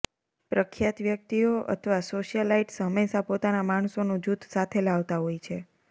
પ્રખ્યાત વ્યક્તિઓ અથવા સોશિયલાઇટ્સ હંમેશાં પોતાના માણસોનું જૂથ સાથે લાવતા હોય છે